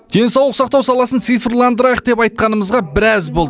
денсаулық сақтау саласын цифрландырайық деп айтқанымызға біраз болды